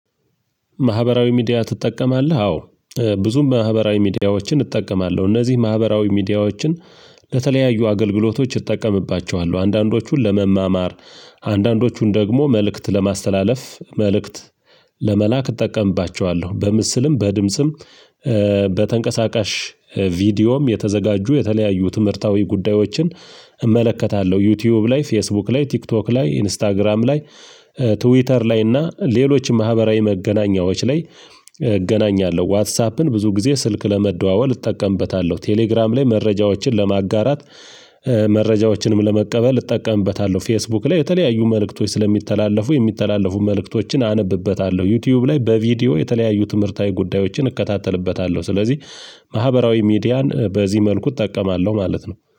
ማህበራዊ ሚዲያ ትጠቀማለህ? አዎ። ብዙ ማህበራዊ ሚዲያዎችን እጠቀማለሁ እነዚህ ማህበራዊ ሚዲያዎችን ለተለያዩ አገልግሎቶች እጠቀምባቸዋለሁ አንዳንዶቹን ለመማማር። አንዳንዶቹን ደግሞ መልእክት ለማስተላለፍ መልእክት ለመላክ እጠቀምባቸዋለሁ። በምስልም በድምጽም በተንቀሳቃሽ ቪዲዮም የተዘጋጁ የተለያዩ ትምህርታዊ ጉዳዮችን እመለከታለሁ። ዩቲዩብ ላይ ፌስቡክ ላይ ቲክቶክ ላይ ኢንስታግራም ላይ ትዊተር ላይ እና ሌሎችም ማህበራዊ መገናኛዎች ላይ እገናኛለሁ። ዋትሳፕን ብዙ ጊዜ ስልክ ለመደዋወል እጠቀምበታለሁ። ቴሌግራም ላይ መረጃዎችን ለማጋራት መረጃዎችንም ለመቀበል እጠቀምበታለሁ። ፌስቡክ ላይ የተለያዩ መልእክቶች ስለሚተላለፉ የሚተላለፉ መልእክቶችን አነብበታለሁ። ዩቲዩብ ላይ በቪዲዮ የተለያዩ ትምህርታዊ ጉዳዮችን እከታተልበታለሁ። ስለዚህ ማህበራዊ ሚዲያን በዚህ መልኩ እጠቀማለሁ ማለት ነው